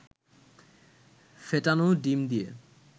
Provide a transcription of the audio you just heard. ফেটানো ডিম দিয়ে